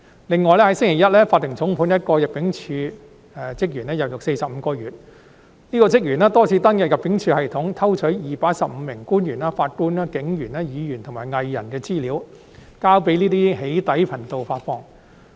另外，在星期一，法庭重判了一名人境事務處職員入獄45個月。這名職員多次登入人境事務處系統，偷取215名官員、法官、警員、議員及藝人的資料，交予一些"起底"頻道發放。